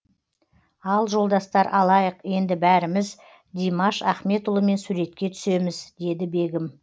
ал жолдастар алайық енді бәріміз димаш ахметұлымен суретке түсеміз деді бегім